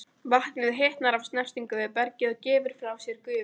Vatnið hitnar af snertingu við bergið og gefur frá sér gufu.